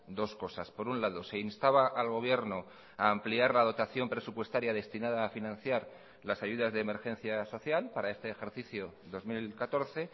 dos cosas por un lado se instaba al gobierno a ampliar la dotación presupuestaria destinada a financiar las ayudas de emergencia social para este ejercicio dos mil catorce